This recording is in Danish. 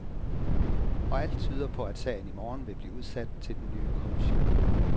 Og alt tyder på, at sagen i morgen vil blive udsat til den nye kommission.